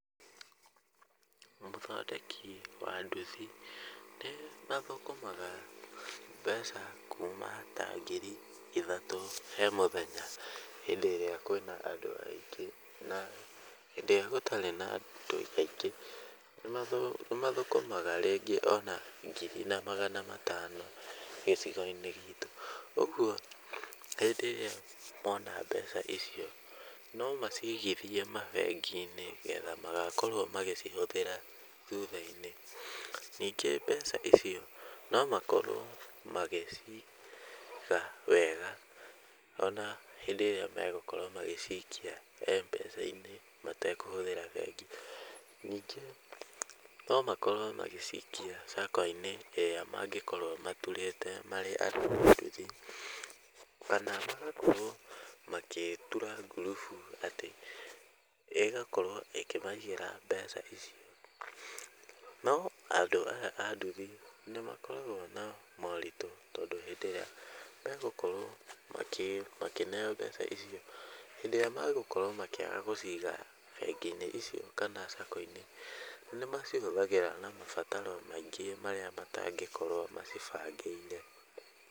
Ũthondeki wa nduthi nĩmathũkũmaga mbeca kuma ta ngiri ithatũ he mũthenya hĩndĩ ĩrĩa kwĩna andũ aingĩ, na hĩndĩ ĩrĩa gũtarĩ na andũ aingĩ nĩmathũkũmaga ringĩ ona ngiri na magana matano gĩcigo-inĩ gitũ. Ũguo hĩndĩ ĩrĩa mona mbeca icio no macigithie mabengi-inĩ nĩgetha magakorwo magĩcihũthĩra thutha-inĩ, ningĩ mbeca icio no makorwo magĩciga wega ona hĩndĩ ĩrĩa megũkorwo magĩcikia Mpesa-inĩ matekũhũthĩra bengi. Ningĩ no makorwo magĩcikia saco-inĩ ĩrĩa mangĩkorwo maturĩte marĩ andũ a nduthi, kana magakorwo magĩtura ngurubu ĩgakorwo ĩkĩmaigĩra mbeca icio, no andũ aya a nduthi nĩmakoragwo na moritũ hĩndĩ ĩrĩa megũkorwo makĩneo mbeca icio hĩndĩ ĩrĩa megũkorwo makĩaga gũciga bengi-inĩ icio kana Sacco-inĩ nĩmacihũthagĩra na mabataro maingĩ marĩa matangĩkorwo macibangĩire.